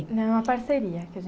Não, é uma parceria.